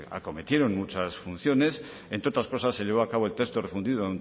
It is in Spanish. acometieron muchas funciones entre otras cosas se llevó a cabo el texto refundido